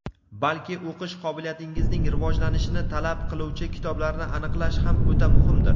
balki o‘qish qobiliyatingizning rivojlanishini talab qiluvchi kitoblarni aniqlash ham o‘ta muhimdir.